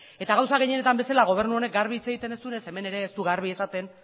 eta gauza gehienetan bezala gobernu honek garbi hitz egiten ez duenez hemen ere ez du garbi esaten